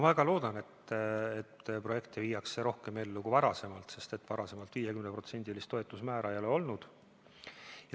Ma väga loodan, et projekte viiakse rohkem ellu kui varem, sest varem ei ole 50%-list toetusmäära olnud.